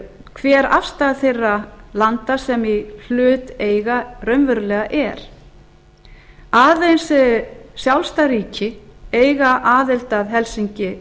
hver afstaða þeirra landa sem í hlut eiga raunverulega er aðeins sjálfstæð ríki eiga aðild að helsinki